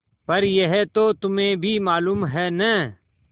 पर यह तो तुम्हें भी मालूम है है न